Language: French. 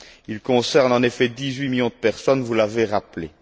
Il concerne en effet dix huit millions de personnes, vous l'avez rappelé.